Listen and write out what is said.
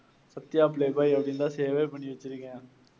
Sathya playboy அப்பிடின்னு தான் save வே பண்ணி வெச்சுருக்கேன்.